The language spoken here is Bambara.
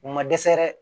U ma dɛsɛ dɛ